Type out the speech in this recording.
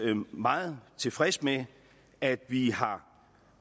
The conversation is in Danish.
meget tilfreds med at vi har